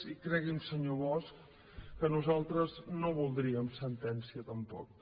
i cregui’m senyor bosch que nosaltres no voldríem sentència tampoc